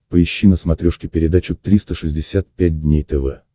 поищи на смотрешке передачу триста шестьдесят пять дней тв